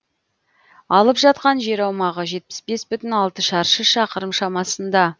алып жатқан жер аумағы жетпіс бес бүтін алты шаршы шақырым шамасында